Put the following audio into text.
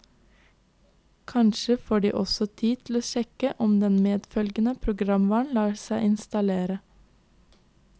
Kanskje får de også tid til å sjekke om den medfølgende programvaren lar seg installere.